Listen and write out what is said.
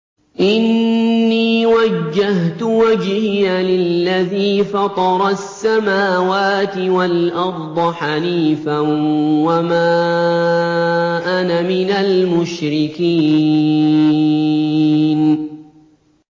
إِنِّي وَجَّهْتُ وَجْهِيَ لِلَّذِي فَطَرَ السَّمَاوَاتِ وَالْأَرْضَ حَنِيفًا ۖ وَمَا أَنَا مِنَ الْمُشْرِكِينَ